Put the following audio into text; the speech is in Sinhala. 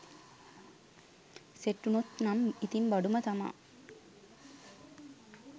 සෙට් වුණොත් නම් ඉතින් බඩුම තමා